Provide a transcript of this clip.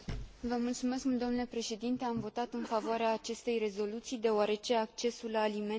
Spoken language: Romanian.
Am votat în favoarea acestei rezoluții, deoarece accesul la alimente este un drept fundamental.